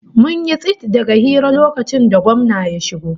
Mun yi tsit daga hira lokacin da gwamna ya shigo